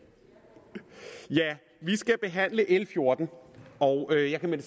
vi skal behandle l fjorten og jeg kan med